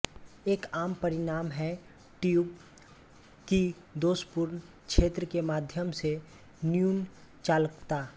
एक आम परिणाम है ट्यूब की दोषपूर्ण क्षेत्र के माध्यम से न्यून चालकता